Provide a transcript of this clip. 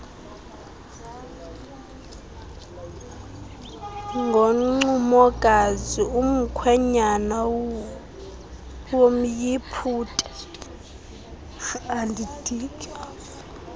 ngoncumokazi umkhwenyana womyiputa